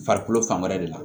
Farikolo fan wɛrɛ de la